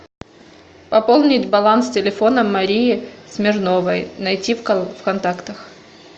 пополнить баланс телефона марии смирновой найти в контактах